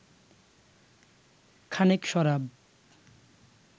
খানিক শরাব